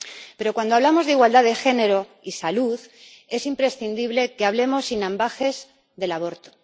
Pero cuando hablamos de igualdad de género y salud, es imprescindible que hablemos sin ambages del aborto.